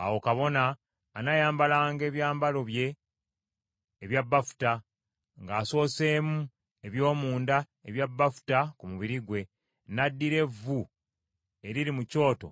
Awo kabona anaayambalanga ebyambalo bye ebya bafuta, ng’asooseemu eby’omunda ebya bafuta ku mubiri gwe, n’addira evvu eriri mu kyoto